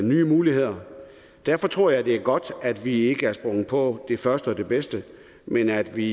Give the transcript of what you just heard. nye muligheder og derfor tror jeg det er godt at vi ikke er sprunget på det første det bedste men at vi